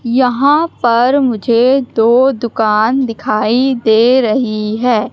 यहां पर मुझे दो दुकान दिखाई दे रही हैं।